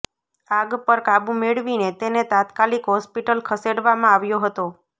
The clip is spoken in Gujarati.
આગ પર કાબૂ મેળવીને તેને તાત્કાલિક હોસ્પિટલ ખસેડવામાં આવ્યો હતો